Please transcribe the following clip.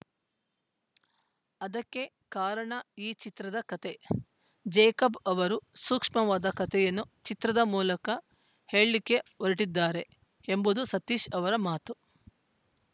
ಅದಕ್ಕೆ ಕಾರಣ ಈ ಚಿತ್ರದ ಕತೆ ಜೇಕಬ್‌ ಅವರು ಸೂಕ್ಷ್ಮವಾದ ಕತೆಯನ್ನು ಚಿತ್ರದ ಮೂಲಕ ಹೇಳಕ್ಕೆ ಹೊರಟಿದ್ದಾರೆ ಎಂಬುದು ಸತೀಶ್‌ ಅವರ ಮಾತು